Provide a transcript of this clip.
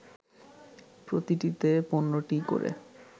প্রতিটিতে ১৫টি করে